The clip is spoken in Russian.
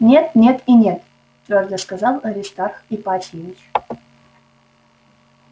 нет нет и нет твёрдо сказал аристарх ипатьевич